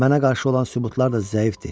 Mənə qarşı olan sübutlar da zəifdir.